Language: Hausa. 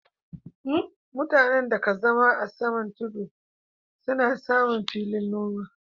Mutanen da ka zama a saman tudu su na samu fiyan noma